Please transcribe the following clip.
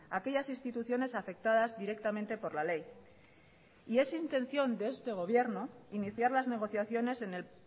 aquellas instituciones afectadas directamente por la ley y es intención de este gobierno iniciar las negociaciones en el